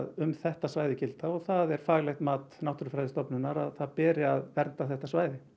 um þetta svæði gilda og það er faglegt mat Náttúrufræðistofnunar að það beri að vernda þetta svæði